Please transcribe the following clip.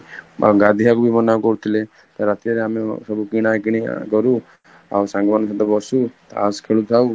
ଗାଧେଇବାକୁ ବି ମନା କରୁଥିଲେ, ରାତିରେ ଆମେ କଣ ସବୁ କିଣା କିଣି କରୁ ଆଉ ସାଙ୍ଗ ମାନଙ୍କ ସହିତ ବାସୁ ତାସ ଖେଳୁ ଥାଉ